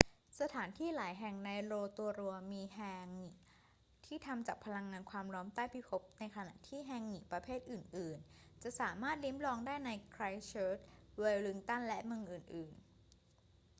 สถานที่หลายแห่งในโรโตรัวมีแฮงงิที่ทำจากพลังงานความร้อนใต้พิภพในขณะที่ แฮงงิประเภทอื่น ๆ จะสามารถลิ้มลองได้ในไครสต์เชิร์ช เวลลิงตัน และเมืองอื่น ๆ